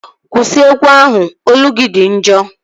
Kwụsị egwu ahụ! Olu gị dị njọ